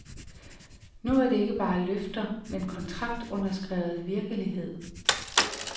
Nu er det ikke bare løfter, men kontraktunderskrevet virkelighed.